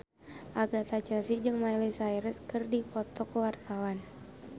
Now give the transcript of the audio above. Agatha Chelsea jeung Miley Cyrus keur dipoto ku wartawan